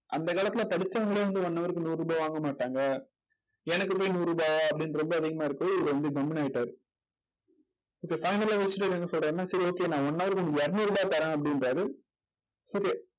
அந்த காலத்துல படிச்சவங்களே வந்து one hour க்கு நூறு ரூபாய் வாங்க மாட்டாங்க எனக்கு போய் நூறு ரூபாயா அப்படின்னு ரொம்ப அதிகமா இருக்குன்னு இவரு வந்து கம்முனு ஆயிட்டாரு. இப்ப final ஆ யோசிச்சிட்டு அவர் என்ன சொல்றாருன்னா சரி okay நான் one hour க்கு உனக்கு இருநூறு ரூபாய் தரேன் அப்படிங்கறாரு